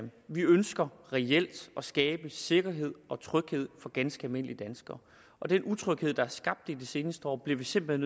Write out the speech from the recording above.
vi ønsker reelt at skabe sikkerhed og tryghed for ganske almindelige danskere og den utryghed der er skabt i de seneste år bliver vi simpelt